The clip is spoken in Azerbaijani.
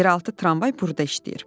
Yeraltı tramvay burda işləyir.